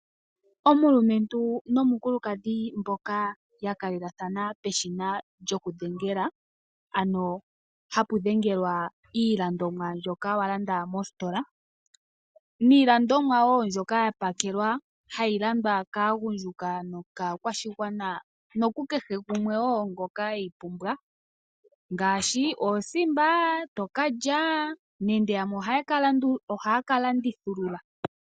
Omulumentu nomukulukadhi mboka ya kalelathana peshina lyokudhengela, ano hapu dhengelwa iilandomwa mbyoka wa landa mositola. Niilandomwa wo mbyoka ya pakelwa hayi landwa kaagundjuka nokaakwashigwana nokukehe gumwe wo ngoka we yi pumbwa ngaashi oosimba to ka lya nenge yamwe ohaya ka landithulula.